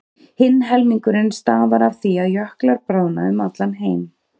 Hinn helmingurinn stafar af því að jöklar bráðna um allan heim.